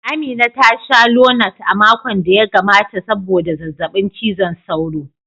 Amina ta sha Lonat a makon da ya gabata sabodda zazzabin cizon sauro.